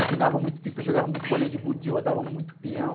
Empinava muito pipa, jogava muito bolinha de gude, rodava muito pião.